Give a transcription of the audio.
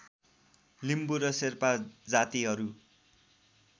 लिम्बु र शेर्पा जातिहरू